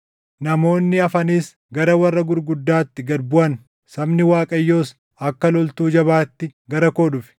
“Namoonni hafanis, gara warra gurguddaatti gad buʼan; sabni Waaqayyoos, akka loltuu jabaatti gara koo dhufe.